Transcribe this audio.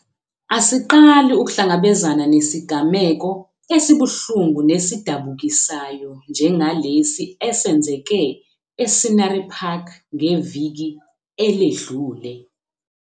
Asiqali ukuhlangabezana nesigameko esibuhlungu nesidabukisayo njengalesi esenzeke e-Scenery Park ngeviki eledlule.